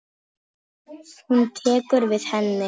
Hún tekur við henni.